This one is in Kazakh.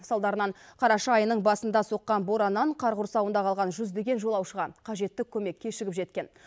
салдарынан қараша айының басында соққан бораннан қар құрсауында қалған жүздеген жолаушыға қажетті көмек кешігіп жеткен